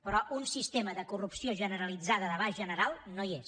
però un sistema de corrupció generalitzada d’abast general no hi és